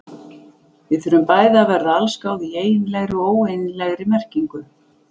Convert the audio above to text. Við þurfum bæði að verða allsgáð í eiginlegri og óeiginlegri merkingu.